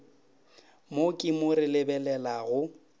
mo ke mo re lebelelago